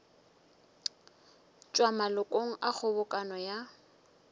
tšwa malokong a kgobokano ya